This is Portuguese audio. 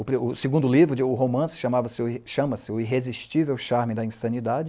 O segundo livro, o romance, chamava-se, chama-se ''O Irresistível Charme da Insanidade.''